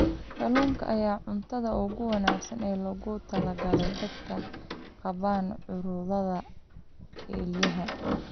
Kalluunka ayaa ah cuntada ugu wanaagsan ee loogu talagalay dadka qaba cudurrada kelyaha.